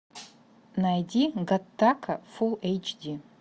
найди гаттака фул эйч ди